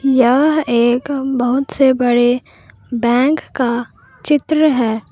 यह एक बहुत से बड़े बैंक का चित्र है।